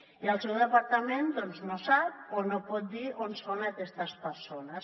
i el seu departament doncs no sap o no pot dir on són aquestes persones